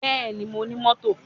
Bẹ́ẹ̀ni, Mo ní mọ́tò.